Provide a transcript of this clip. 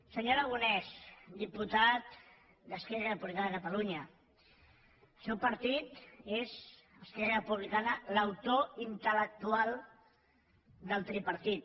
senyor aragonès diputat d’esquerra republicana de catalunya el seu partit és esquerra republicana l’autor intel·lectual del tripartit